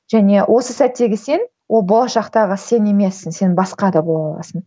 және осы сәттегі сен ол болашақтағы сен емессің сен басқа да бола аласың